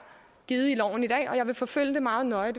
givet i loven i dag og jeg vil forfølge det meget nøje